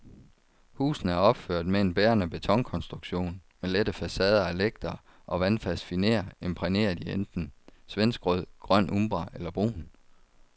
Husene er opført med en bærende betonkonstruktion med lette facader af lægter og vandfast finér imprægneret i enten svenskrød, grøn umbra eller brun.